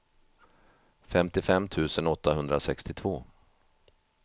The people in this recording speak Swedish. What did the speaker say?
femtiofem tusen åttahundrasextiotvå